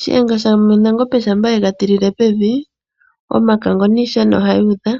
Shiyenga shanangombe shampa yega tilile pevi omakango niishana ohayi udha